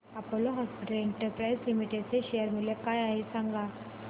Apollo hospitals enterprise limited चे share मूल्य काय आहे सांगा